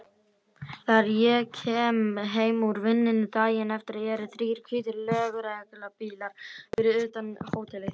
Þegar ég kem heim úr vinnunni daginn eftir eru þrír hvítir lögreglubílar fyrir utan hótelið.